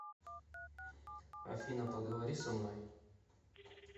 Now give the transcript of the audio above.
афина поговори со мной